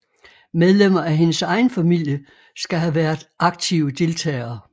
Medlemmer af hendes egen familie skal have været aktive deltagere